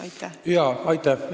Aitäh!